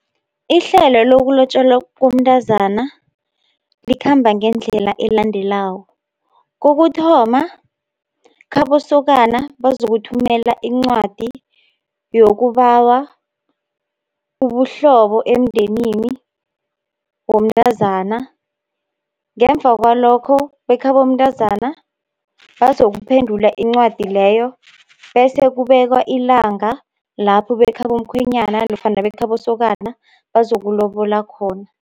Ihlelo lokulotjolwa komntazana, likhamba ngendlela elandelako, kokuthoma khabosokana bazokuthumela incwadi yokubawa ubuhlobo emndenini womntazana. Ngemva kwalokho bekhabo mntazana, bazokuphendula incwadi leyo, bese kubekwa ilanga lapho bekhabo mkhwenyana, nofana bekhabosokana bazokulobola khona.